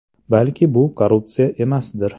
Balki bu korrupsiya emasdir.